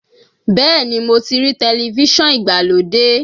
Bẹ́ẹ̀ ni, mo ti rí tẹlifíṣọ̀n ìgbàlódé.